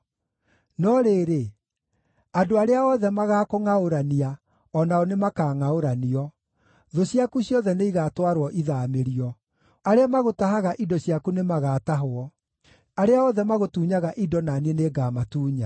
“ ‘No rĩrĩ, andũ arĩa othe magaakũngʼaũrania o nao nĩmakangʼaũranio; thũ ciaku ciothe nĩigatwarwo ithaamĩrio. Arĩa magũtahaga indo ciaku nĩmagatahwo; arĩa othe magũtunyaga indo na niĩ nĩngamatunya.